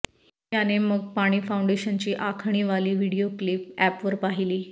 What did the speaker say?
याने मग पाणी फाऊण्डेशनची आखणी वाली व्हिडिओ क्लिप अॅपवर पाहिली